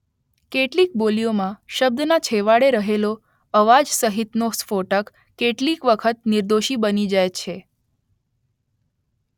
કેટલીક બોલીઓમાં શબ્દના છેવાડે રહેલો અવાજસહિતનો સ્ફોટક કેટલીક વખત નિર્ઘોષી બની જાય છે